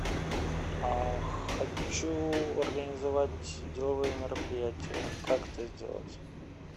а хочу организовать деловое мероприятие как это сделать